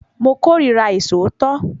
Mo kórira àìṣòótọ́